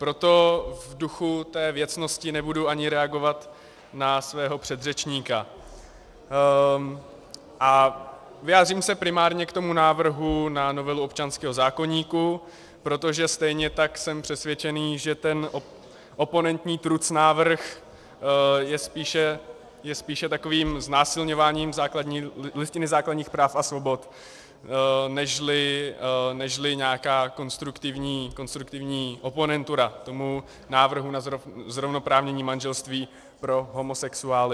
Proto v duchu té věcnosti nebudu ani reagovat na svého předřečníka a vyjádřím se primárně k tomu návrhu na novelu občanského zákoníku, protože stejně tak jsem přesvědčený, že ten oponentní trucnávrh je spíše takovým znásilňováním Listiny základních práv a svobod nežli nějaká konstruktivní oponentura tomu návrhu na zrovnoprávnění manželství pro homosexuály.